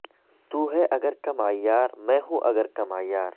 تو ہے اگر کم عیار میں ہوں اگر کم عیار